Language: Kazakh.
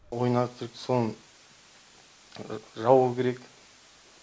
ойын аттракционын жабу керек